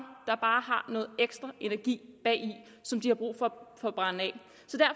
har noget ekstra energi bagi som de har brug for at brænde af